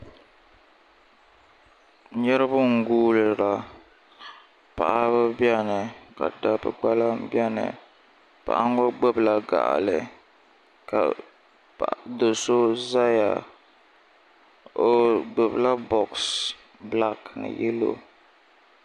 Niraba n guurila paɣaba biɛni ka dabba biɛni paɣa ŋɔ gbubila gaɣili ka do so ʒɛya o gbubila box black ni yellow